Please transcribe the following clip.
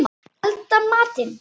Elda matinn.